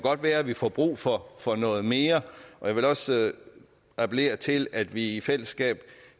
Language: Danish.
være at vi får brug for for noget mere og jeg vil også appellere til at vi i fællesskab